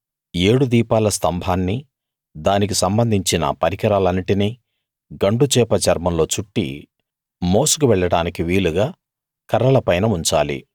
ఏడు దీపాల స్తంభాన్నీ దానికి సంబంధించిన పరికరాలన్నిటినీ గండుచేప చర్మంలో చుట్టి మోసుకు వెళ్ళడానికి వీలుగా కర్రల పైన ఉంచాలి